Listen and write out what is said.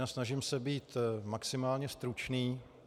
Vynasnažím se být maximálně stručný.